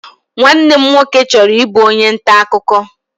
Nwanne m nwoke chọrọ ịbụ onye nta akụkọ.